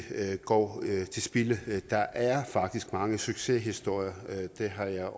går til spilde der er faktisk mange succeshistorier det har jeg